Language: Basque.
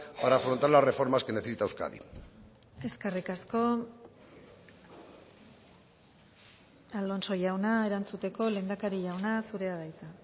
para afrontar las reformas que necesita euskadi eskerrik asko alonso jauna erantzuteko lehendakari jauna zurea da hitza